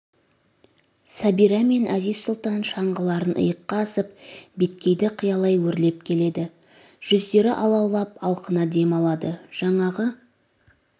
сәбира мен әзиз-сұлтан шаңғыларын иыққа асып беткейді қиялай өрлеп келеді жүздері алаулап алқына дем алады жаңағы